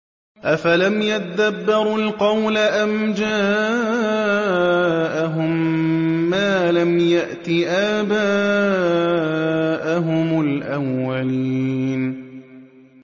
أَفَلَمْ يَدَّبَّرُوا الْقَوْلَ أَمْ جَاءَهُم مَّا لَمْ يَأْتِ آبَاءَهُمُ الْأَوَّلِينَ